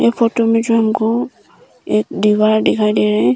Photo में जो हमको एक दीवार दिखाई दे रहा है।